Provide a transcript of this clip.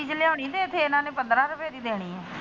ਚੀਜ਼ ਲਿਉਣੀ ਤੇ ਇਥੇ ਇਹਨਾ ਨੇ ਪੰਦਰਾ ਰੁਪਏ ਦੀ ਦੇਣੀ ਆ।